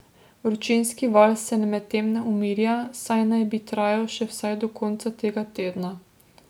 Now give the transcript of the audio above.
Vročinski val se medtem ne umirja, saj naj bi trajal še vsaj do konca tega tedna.